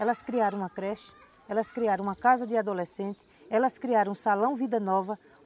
Elas criaram uma creche, elas criaram uma casa de adolescente, elas criaram um salão vida nova.